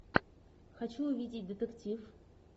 хочу увидеть детектив